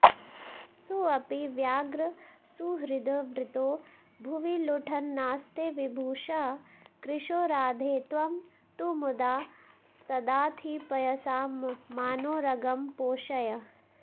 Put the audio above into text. सोऽपि व्याग्रसुहृद्वृतो भुवि लुठन्नास्ते विभूषः कृशो राधे त्वं तु मुदा सदाधिपयसा मानोरगं पोषय